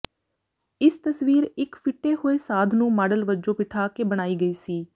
ਇਸ ਤਸਵੀਰ ਇਕ ਫਿੱਟੇ ਹੋਏ ਸਾਧ ਨੂੰ ਮਾਡਲ ਵਜੋਂ ਬਿਠਾ ਕੇ ਬਣਾਈ ਗਈ ਸੀ